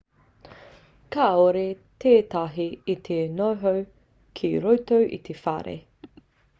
kāore tētahi i te noho ki roto i te whare